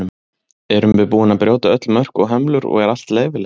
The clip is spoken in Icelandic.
Erum við búin að brjóta öll mörk og hömlur og er allt leyfilegt?